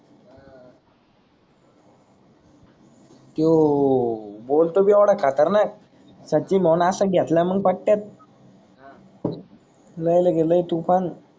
त्यो बोलतोच येवड खतरनाक सची मोनास घेतल मंग पटेत लय लग लय तुफान.